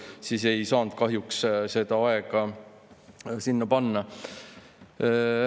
Nii ei saanud ma kahjuks seda aega sinna panna.